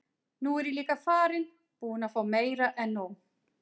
Nú er ég líka farinn. búinn að fá meira en nóg.